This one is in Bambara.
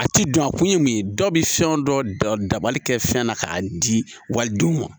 A ti don a kun ye mun ye dɔ bɛ fɛn o dɔ dabali kɛ fɛn na k'a di walidenw ma